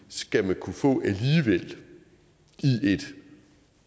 skal kunne få det i et